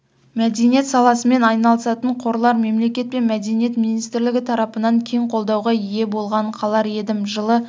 мәдениет саласымен айналысатын қорлар мемлекет пен мәдениет министрлігі тарапынан кең қолдауға ие болғанын қалар едім жылы